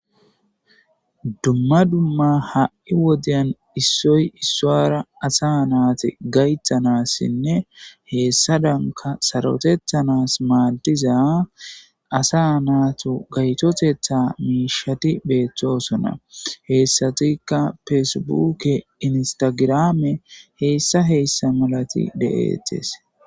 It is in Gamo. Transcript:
dumma dumma ha7i wodyan issoy issaara asa naate gaythanassinne heessa danka sarotethanas maaddiza asa naatu gaytotetha miishati beethtosona heessatikka feesebuke instagirame heessa heessa malati de7ettes